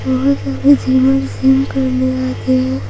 बहुत सारे gymmer gym करने आते हैं।